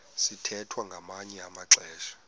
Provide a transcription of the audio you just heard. sithwethwa ngamanye amaxesha